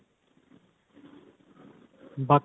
ਬਾਕੀ